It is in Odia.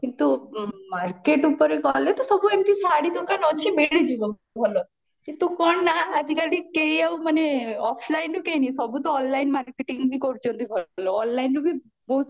କିନ୍ତୁ market ଉପରେ ଗଲେ ତ ସବୁ ଏମତି ଶାଢୀ ଦୋକାନ ଅଛି ମିଳିଯିବ ଭଲ କିନ୍ତୁ କଣ ନା ଆଜି କାଲି କେହି ଆଉ ମାନେ offlineରୁ ସବୁ ତ online marketing ବି କରୁଚନ୍ତି ବି ଭଲ onlineରୁ ବି ବହୁତ